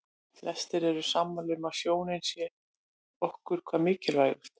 Flestir eru sammála um að sjónin sé okkur hvað mikilvægust.